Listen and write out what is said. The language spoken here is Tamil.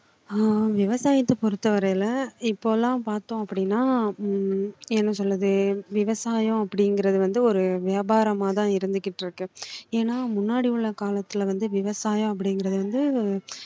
ஆஹ் விவசாயத்த பொறுத்த வரையில இப்போலாம் பார்த்தோம் அப்படின்னா உம் என்ன சொல்றது விவசாயம் அப்படிங்கறது வந்து ஒரு வியாபாரமா தான் இருந்துக்கிட்டு இருக்கு ஏன்னா முன்னாடி உள்ள காலத்துல வந்து விவசாயம் அப்படிங்கறது வந்து